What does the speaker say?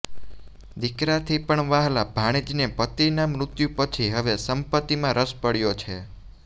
દીકરાથી પણ વ્હાલા ભાણેજને પતિના મૃત્યુ પછી હવે સંપત્તિમાં રસ પડ્યો છે